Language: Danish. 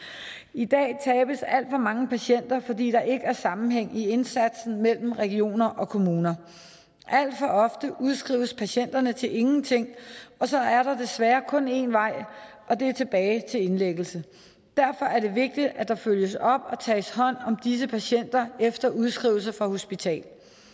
i dag tabes alt for mange patienter fordi der ikke er sammenhæng i indsatsen mellem regioner og kommuner alt for ofte udskrives patienterne til ingenting og så er der desværre kun en vej og det er tilbage til indlæggelse derfor er det vigtigt at der følges op og tages hånd om disse patienter efter udskrivelse fra hospital